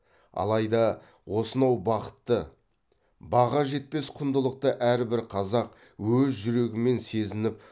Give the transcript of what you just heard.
алайда осынау бақытты баға жетпес құндылықты әрбір қазақ өз жүрегімен сезініп